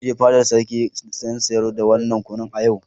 Zan je fadar sarki in sayar da wadannan kunu a yau.